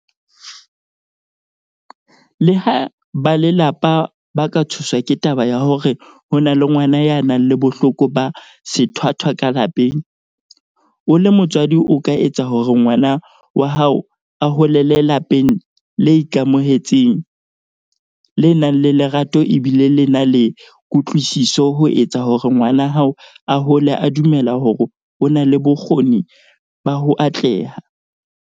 Leha ba lelapa ba ka tshoswa ke taba ya hore ho na le ngwana ya nang le bohloko ba sethwathwa ka lapeng, o le motswadi o ka etsa hore ngwana wa hao a holele lapeng le ikamohetseng, le nang le lerato e bile le na le kutlwisiso ho etsa hore ngwana hao a hole a dumela hore o na le bokgo-ning ba ho atleha.